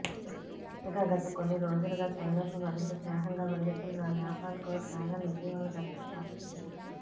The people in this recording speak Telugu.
ఇక గత కొన్ని రోజులుగా చైనాతో మరింత స్నేహంగా మెలుగుతున్న నేపాల్కు డ్రాగన్ ఇటీవల గట్టి షాకిచ్చింది